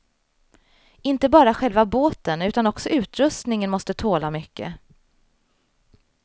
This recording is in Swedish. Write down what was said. Inte bara själva båten utan också utrustningen måste tåla mycket.